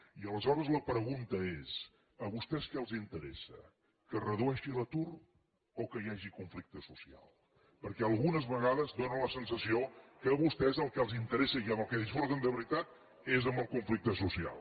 i aleshores la pregunta és a vostès què els interessa que es redueixi l’atur o que hi hagi conflicte social perquè algunes vegades dóna la sensació que a vostès el que els interessa i amb el que disfruten de veritat és amb el conflicte social